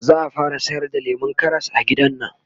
zaa fara sayar da lemun Karas a gidannan